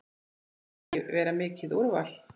Fannst ekki vera mikið úrval.